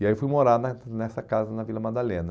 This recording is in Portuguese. E aí eu fui morar na nessa casa na Vila Madalena.